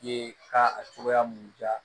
I ye ka a cogoya mun di yan